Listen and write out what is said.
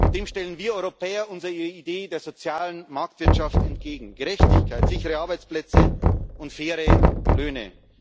Dem stellen wir Europäer unsere Idee der sozialen Marktwirtschaft entgegen Gerechtigkeit, sichere Arbeitsplätze und faire Löhne.